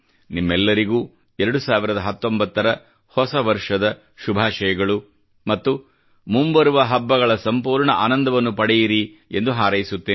ನಿಮ್ಮೆಲ್ಲರಿಗೂ 2019 ರ ಹೊಸ ವರ್ಷದ ಶುಭಾಷಯಗಳು ಮತ್ತು ಮುಂಬರುವ ಹಬ್ಬಗಳ ಸಂಪೂರ್ಣ ಆನಂದವನ್ನು ಪಡೆಯಿರಿ ಎಂದು ಹಾರೈಸುತ್ತೇನೆ